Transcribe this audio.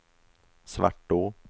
Svartå